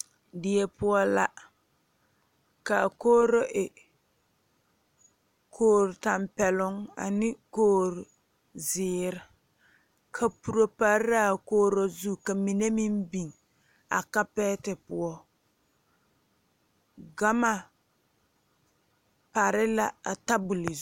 Die poɔ la kaa kogro e kogro tanpɛloŋ ane kogro ziiri kaporo pare la a kogro zu ka mine meŋ biŋ a kapɛɛti poɔ gane pare la a tabol zu.